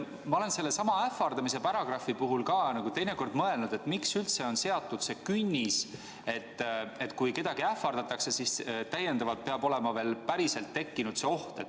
Ma olen ähvardamise paragrahvi puhul teinekord mõelnud, et miks üldse on seatud künnis, et kui kedagi ähvardatakse, siis peab päriselt olema tekkinud oht.